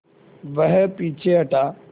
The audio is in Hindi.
वह पीछे हटा